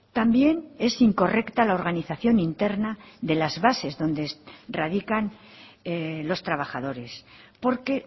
también es incorrecta la organización interna de las bases donde radican los trabajadores porque